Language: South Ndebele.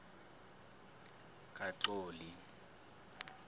kaxoli